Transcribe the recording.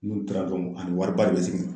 N'u taara dɔrɔn ani wari ba de be segin